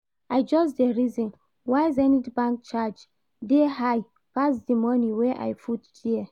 I just dey reason why Zenith Bank charge dey high pass the money wey I put there